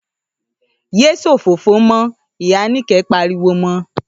‘Yé s̩òfófó mó̩!’, ìyá Níkè̩é̩ pariwo mo̩